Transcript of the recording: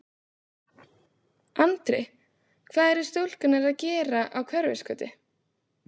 Andri: Hvað eru stúlkurnar að gera á Hverfisgötu?